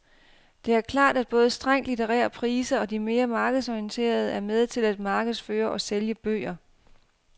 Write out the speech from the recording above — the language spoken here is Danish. Det er klart, at både strengt litterære priser og de mere markedsorienterede er med til at markedsføre og sælge bøger.